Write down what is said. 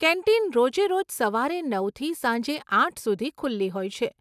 Canteen રોજે રોજ સવારે નવથી સાંજે આઠ સુધી ખુલ્લી હોય છે.